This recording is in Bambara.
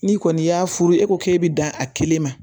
N'i kɔni y'a furu e ko k'e bɛ dan a kelen ma